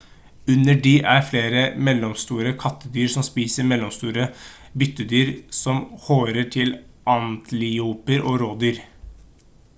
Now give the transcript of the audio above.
under de er det flere mellomstore kattedyr som spiser mellomstore byttedyr som harer til antiloper og rådyr